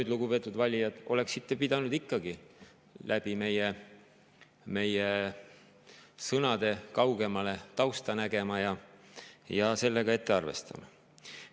Aga, lugupeetud valijad, oleksite ikkagi pidanud läbi meie sõnade kaugemale, tausta nägema ja sellega ette arvestama.